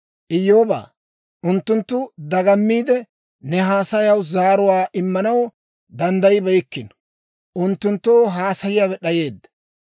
«Iyyoobaa, unttunttu dagammiide, ne haasayaw zaaruwaa immanaw danddayibeykkino; unttunttoo haasayiyaawe d'ayeedda.